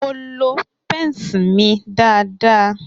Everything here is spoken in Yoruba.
Mo lo pence mi dáadáa.